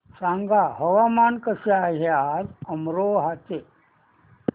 सांगा हवामान कसे आहे आज अमरोहा चे